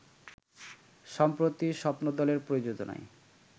সম্প্রতি স্বপ্নদলের প্রযোজনায়